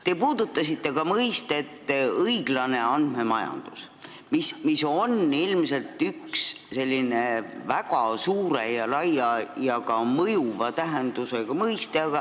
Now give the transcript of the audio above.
Te puudutasite ka mõistet "õiglane andmemajandus", mis on ilmselt üks väga laia ja ka mõjuva tähendusega mõiste.